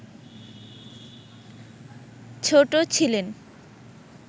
ছোট ছিলেন